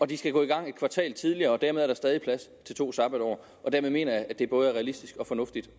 de skal gå i gang en kvartal tidligere dermed er der stadig plads til to sabbatår og dermed mener jeg at det både er realistisk og fornuftigt